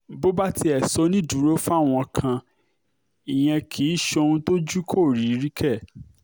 bó bá tiẹ̀ ṣonídùúró fáwọn kan ìyẹn kì í ṣohun tójú kò rí rí kẹ̀